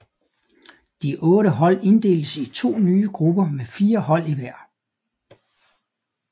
De otte hold inddeltes i to nye grupper med fire hold i hver